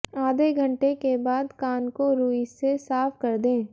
आधे घंटे के बाद कान को रूई से साफ कर दें